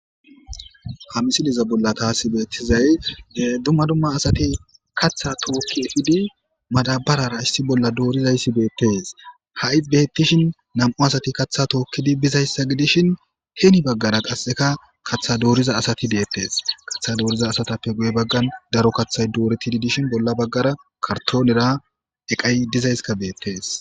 Ha misileza bolla tas bettizay dumma dumma asati kaththa tooki epidii madabarara issi bolla dorizayssi bettes hayi bettishin nam'u asati kaththa tookidi bizaysa godishin heni baggara qasekka kaththa doriza asatti dettes kaththa.doriza asatappe guye baggan daro kaththay dorettidi dishin bolla baggara kartonnera eqay dizaysika bettes